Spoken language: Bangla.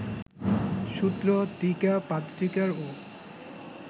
সূত্র, টীকা, পাদটীকারও